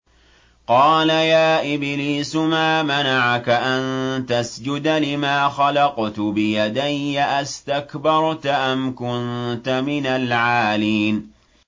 قَالَ يَا إِبْلِيسُ مَا مَنَعَكَ أَن تَسْجُدَ لِمَا خَلَقْتُ بِيَدَيَّ ۖ أَسْتَكْبَرْتَ أَمْ كُنتَ مِنَ الْعَالِينَ